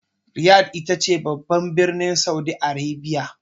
Riyadh ita ce babban birnin Saudi Arabia.